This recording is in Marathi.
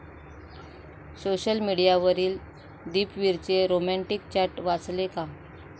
सोशल मीडियावरील 'दीपवीरचे' रोमँटिक चॅट वाचले का?